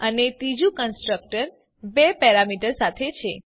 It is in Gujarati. અને ત્રીજું કન્સ્ટ્રક્ટર બે પેરામીટર સાથે છે